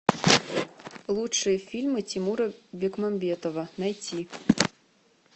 лучшие фильмы тимура бекмамбетова найти